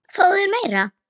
Fáðu þér meira!